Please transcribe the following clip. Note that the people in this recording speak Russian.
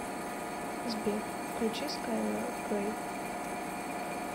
сбер включи скайлар грей